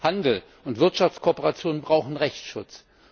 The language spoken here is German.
Handel und Wirtschaftskooperation brauchen Rechtsschutz.